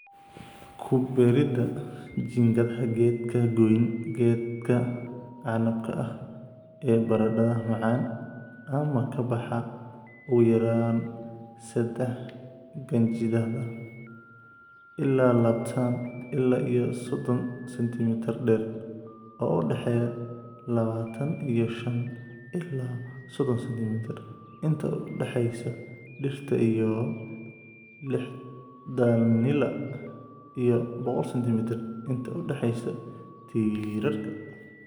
Ku beeridda jiingadaha Geedka gooyn geedka canabka ah ee baradhada macaan ama ka baxa ugu yaraan sadah qanjidhada (ilaa labatan ila iyo sodhon sentimitar dheer) oo u dhexeeya labatan iyo shan ila sodhon sentimitar inta u dhaxaysa dhirta iyo lixdhanila iyo boqol sentimitar inta u dhaxaysa tiirarka.